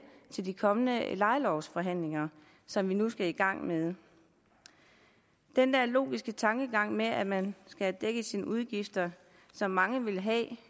til de kommende lejelovsforhandlinger som vi nu skal i gang med den der logiske tankegang med at man have dækket sine udgifter som mange vil have